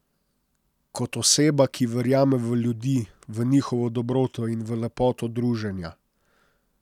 Kot oseba, ki verjame v ljudi, v njihovo dobroto in v lepoto druženja.